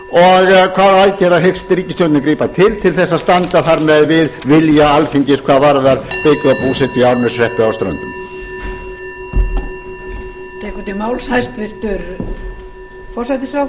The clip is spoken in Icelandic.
og hvaða aðgerða hyggst ríkisstjórnin grípa til til þess að standa þar með við vilja alþingis hvað varðar sveitabúsetu í árneshreppi á ströndum